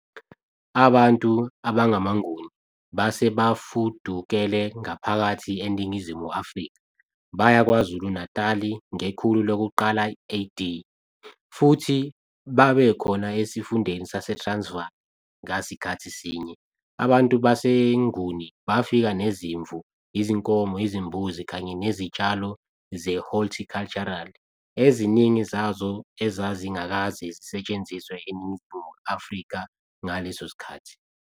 Abantu abangamaNguni base bafudukele ngaphakathi eNingizimu Afrika baya KwaZulu-Natal ngekhulu lokuqala AD, futhi babekhona esifundeni saseTransvaal ngasikhathi sinye. Abantu baseNguni bafika nezimvu, izinkomo, izimbuzi kanye nezitshalo ze-horticultural, eziningi zazo ezazingakaze zisetshenziswe eNingizimu Afrika ngaleso sikhathi.